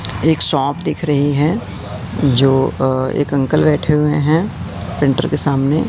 एक शॉप दिख रही हैं जो अ एक अंकल बैठे हुए हैं प्रिंटर के सामने--